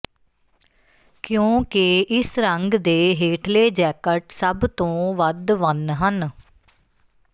ਕਿਉਂਕਿ ਇਸ ਰੰਗ ਦੇ ਹੇਠਲੇ ਜੈਕਟ ਸਭ ਤੋਂ ਵੱਧ ਵੰਨ ਹਨ